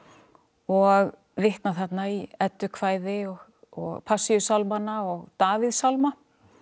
og vitna þarna í eddukvæði og Passíusálmana og Davíðssálma